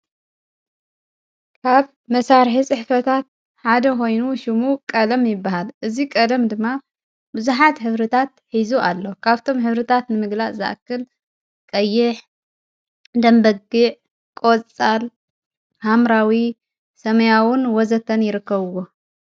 ካብ መሣርሕ ጽ ሕፈታት ሓደ ኾይኑ ሹሙ ቀለም ይበሃል እዙይ ቐለም ድማ ብዙኃት ሕብርታት ኂዙ ኣሎ ካብቶም ኅብርታት ንምግላእ ዝኣክል ቀይሕ ደንበጊዕ ቖወጻል ሃምራዊ ሰመያውን ወዘተን ....ይርከውዎ።